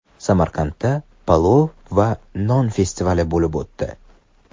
Samarqandda palov va non festivali bo‘lib o‘tdi .